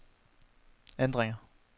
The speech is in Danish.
ændringer